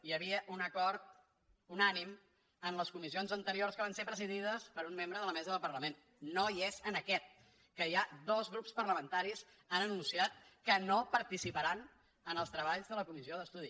hi havia un acord unànime en les comissions anteriors que van ser presidides per un membre de la mesa del parlament no hi és en aquest que ja dos grups parlamentaris han anunciat que no participaran en els treballs de la comissió d’estudi